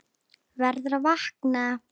Verður að vakna.